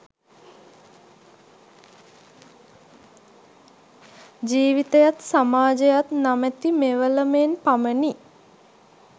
ජීවිතයත් සමාජයත් නමැති මෙවලමෙන් පමණි.